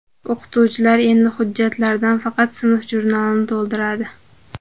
O‘qituvchilar endi hujjatlardan faqat sinf jurnalini to‘ldiradi.